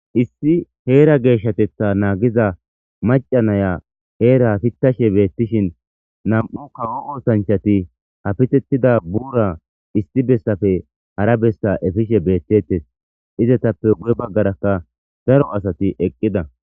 Issi heera geeshatetha naagiza maca naya heera hafitashe beettishin nam'u kawo ootanchati hafitettida buura isti bessafe hara bessa efishe beettettes izatappe gu'e baggarakka daro asati eqqida.